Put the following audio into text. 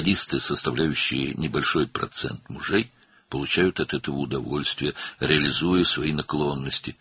Ərlərin kiçik bir faizini təşkil edən sadistlər, öz meyillərini həyata keçirərək bundan həzz alırlar.